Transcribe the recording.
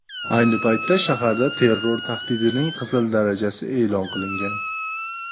Ayni paytda shaharda terror tahdidining qizil darajasi e’lon qilingan.